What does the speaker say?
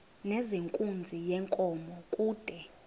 nezenkunzi yenkomo kude